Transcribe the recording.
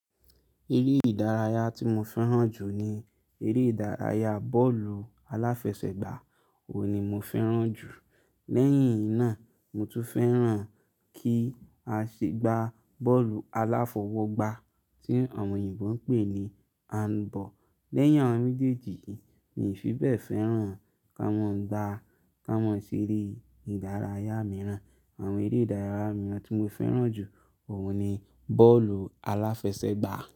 Eré ìdárayá tí mo fẹ́ràn jù ni eré ìdárayá bọ́ọ̀lù aláfẹsẹ̀gbá. Òun ni mo fẹ́ràn jù. Lẹ́yìn náà, mo tún fẹ́ràn kí a ṣe gbá bọ́ọ̀lù aláfọwọ́gbá tí àwọn òyìnbó ń pè ní handball. Lẹ́yìn awon méjèèjì yin, mi ò fi bẹ́ẹ̀ fẹ́ràn awon n gbá ká mọ́ ṣe eré ìdárayá mìíràn. Àwọn eré ìdárayá mìíràn tí mo fẹ́ràn jù òun ni bọ́ọ̀lù aláfẹsẹ̀gbá.